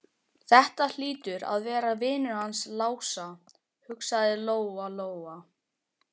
Þetta hlýtur að vera vinur hans Lása, hugsaði Lóa Lóa.